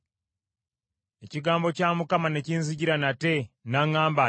Ekigambo kya Mukama ne kinzijira nate, n’aŋŋamba nti,